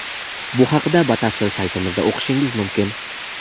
Bu haqida batafsil saytimizda o‘qishingiz mumkin.